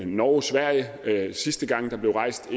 norge og sverige sidste gang der blev rejst